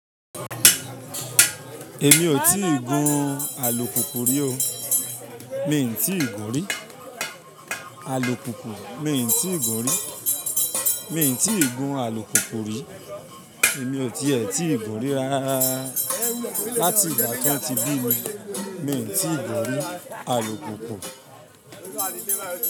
Èmi ò tíì gun alùpùpù rí o. Mi n ti gun rí. Alùpùpù mi n ti ìgò rí. Mi n ti ìgun alùpùpù rí. Èmi ò ti ẹ̀ tí gun rí rárá. Láti ìgbà t'an tí bími, mi n ti gún rí, alùpùpù.